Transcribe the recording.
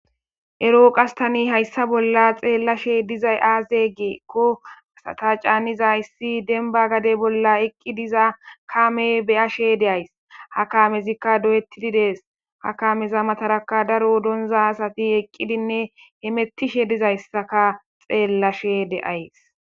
Ero qastani hayssa bolla xeellashe dizay aaze geekko asata caaniza issi denba gade bolla eqqi diza kaamey beyashe de'ays ha kaamezikka doyettididees ha kameza mataraka daro donza asati eqqidinne hemettishe dizayssaka xeellashe de'ays.